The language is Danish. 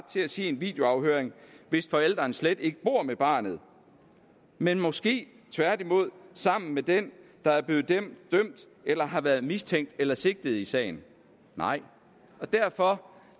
til at se en videoafhøring hvis forælderen slet ikke bor med barnet men måske tværtimod sammen med den der er blevet dømt eller har været mistænkt eller sigtet i sagen nej og derfor